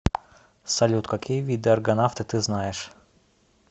салют какие виды аргонавты ты знаешь